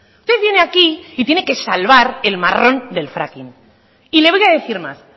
usted viene aquí y tiene que salvar el marrón del fracking y le voy a decir más